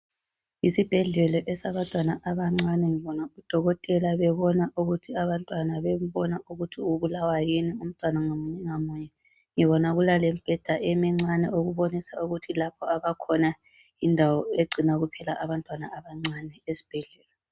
Yisibhedlela esabantwana abancane. Ngibona udokotela bebona, ukuthi abantwana, Bembona ukuthi ubulawa yini umntwana ngamunye ngamunye. Ngibona kulalembheda emncane, ebonisa ukuthi lyindawo egcina abantwana abancane esibhedlela.